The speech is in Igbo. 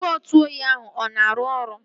Igwe ntụ oyi ahụ ọ na-arụ ọrụ?